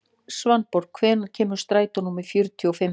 Svanborg, hvenær kemur strætó númer fjörutíu og fimm?